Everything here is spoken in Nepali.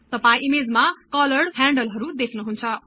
तपाई ईमेजमा कलरड ह्यान्डलहरु देख्नुहुन्छ